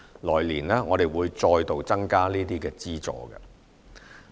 來年我們會再度增加這些資助。